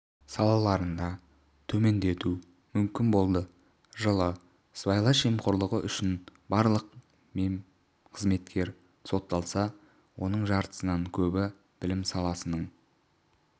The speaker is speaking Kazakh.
салаларында төмендету мүмкін болды жылы сыбайлас жемқорлығы үшінбарлығы мемқызметкер сотталса оның жартысынан көбі білім саласының